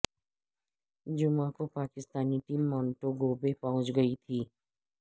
جمعہ کو Pakistani team Montego Bay پہنچ گئی تھی